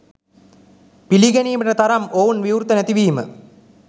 පිළිගැනීමට තරම් ඔවුන් විවෘත නැති වීම